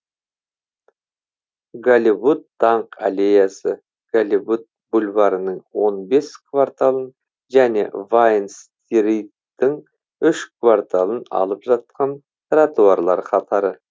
голливуд даңқ аллеясы голливуд бульварінің он бес кварталын және вайн стриттің үш кварталын алып жатқан тротуарлар қатары